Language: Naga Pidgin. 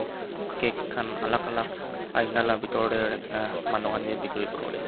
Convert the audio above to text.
cake khan alak alak Aina la bitor tae rakhina manuhan kae bikiri kuriwolae.